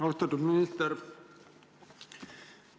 Austatud minister!